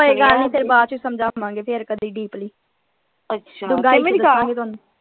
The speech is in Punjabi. ਕੋਈ ਗਲ ਨਈ ਫੇਰ ਬਾਅਦ ਚ ਸਮਝਾਵਾਂ ਗੇ ਫੇਰ ਕਦੀ ਡੀਪਲੀ ਅੱਛਾ।